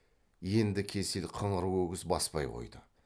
енді кесел қыңыр өгіз баспай қойды